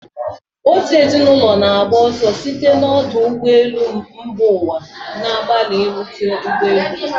Otu ezinụlọ na-agba ọsọ site na ọdụ ụgbọ elu mba ụwa, na-agbalị irute ụgbọ elu ha.